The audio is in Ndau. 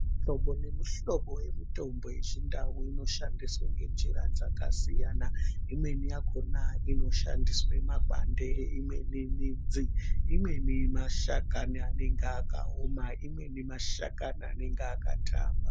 Muhlobo nemuhlobo yemitombo yechindau inoshandiswa ngenjira dzakasiyana imweni yakona inoshandiswa makwande imweni midzi imweni mashakani anonga akaoma imweni mashakani anonga akatamba.